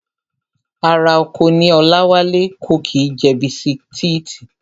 Ará oko ní Ọláwálé, kò kí ń jẹ bisitíìtì